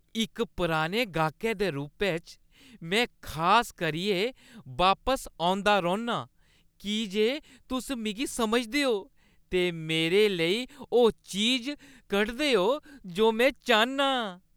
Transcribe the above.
इक पराने गाह्कै दे रूपै च, में खास करियै बापस औंदा रौह्‌न्नां की जे तुस मिगी समझदे ओ ते मेरे लेई ओह् चीज कढदे ओ जो में चाह्न्नां ।